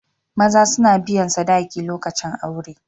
Maza suna biyan sadaki lokacin aure.